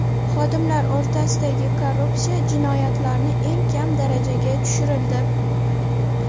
Xodimlar o‘rtasidagi korrupsiya jinoyatlarni eng kam darajaga tushirildi.